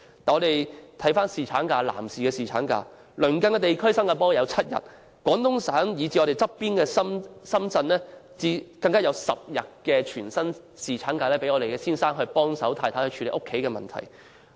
再看看男士的侍產假，鄰近地區例如新加坡有7天，廣東省以至毗鄰香港的深圳更有10天全薪侍產假，讓丈夫助太太處理家中事務。